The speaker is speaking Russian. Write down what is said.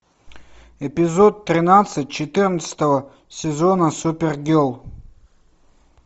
эпизод тринадцать четырнадцатого сезона супергерл